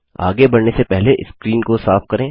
आगे बढ़ने से पहले स्क्रीन को साफ करें